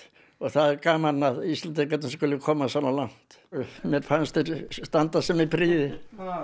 það er gaman að Íslendingarnir skyldu komast svona langt mér fannst þeir standa sig með prýði